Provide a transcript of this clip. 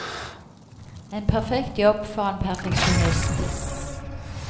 En perfekt jobb for en perfeksjonist.